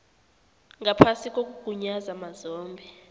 ngaphasi kokugunyaza mazombe